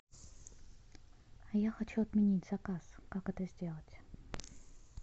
я хочу отменить заказ как это сделать